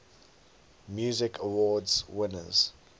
music awards winners